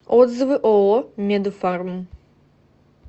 отзывы ооо медфарм